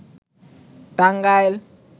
Tangail